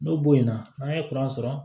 N'o bo in na n'an ye sɔrɔ